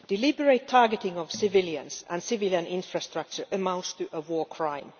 The deliberate targeting of civilians and civilian infrastructure amounts to a war crime.